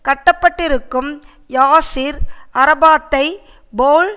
கட்டுப்படுத்தப்பட்டிருக்கும் Yasser அரபாத்தை Powell